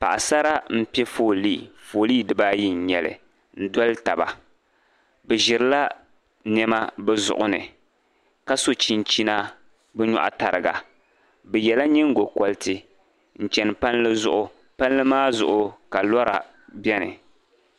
paɣa sara m be foolii foolii di baa ayi n nyɛli n doli taba bɛ ʒiri la nɛma bɛ zuɣu ni ka so chinchina bɛ nyɔɣu tariga bɛ yela nyingo koriti n chani palli zuɣu palli maa zuɣu ka Lora beni